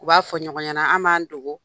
U b'a fɔ ɲɔgɔn ɲana, anw b'an dogo